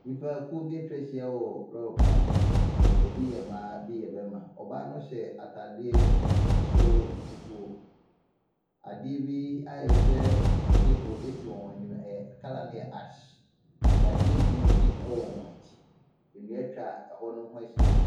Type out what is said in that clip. Nnipakuo bi atwa ahyia wɔ lɔɔre kwan so, bi yɛ mmaa, bi yɛ mmarima, ɔbaa no ɔhyɛ ataare soro fufuo, adeɛ bi ayɛ sɛ table si wɔn anim, ɛyɛ colour no yɛ ash, dadeɛ green bi wɔ wɔn akyi, nnua atwa hɔ ne ho ahyia.